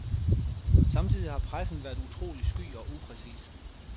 Samtidig har pressen været utrolig sky og upræcis.